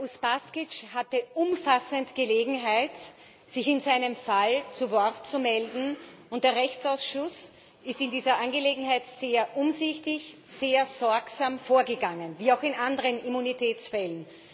Herr Uspaskich hatte umfassend Gelegenheit, sich in seinem Fall zu Wort zu melden. Der Rechtsausschuss ist in dieser Angelegenheit sehr umsichtig, sehr sorgsam vorgegangen wie auch in anderen Immunitätsfällen.